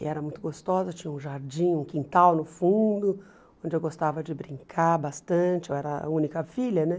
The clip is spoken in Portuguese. E era muito gostosa, tinha um jardim, um quintal no fundo, onde eu gostava de brincar bastante, eu era a única filha, né?